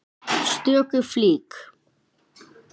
stöku flík.